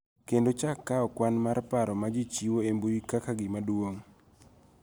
Kendo chak kawo kwan mar paro ma ji chiwo e mbui kaka gima duong� .